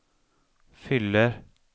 fyller